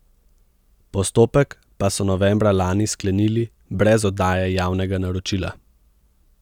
Postopek pa so novembra lani sklenili brez oddaje javnega naročila.